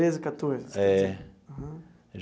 Treze quatorze. É.